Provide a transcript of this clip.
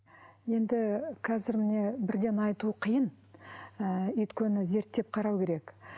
енді қазір міне бірден айту қиын ыыы өйткені зерттеп қарау керек